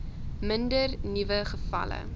minder nuwe gevalle